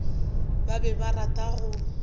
ba be ba rata go